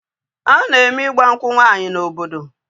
A na-eme ịgba nkwụ nwaanyị n'obodo